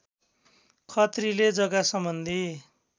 खत्रीले जग्गासम्बन्धी